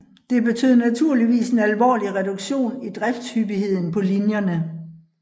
Det betød naturligvis en alvorlig reduktion i driftshyppigheden på linjerne